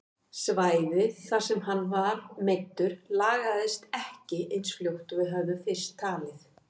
Svæðið þar sem hann var meiddur lagaðist ekki eins fljótt og við höfðum fyrst talið.